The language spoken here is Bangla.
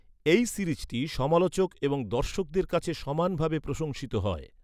এই সিরিজটি সমালোচক এবং দর্শকদের কাছে সমানভাবে প্রশংসিত হয়।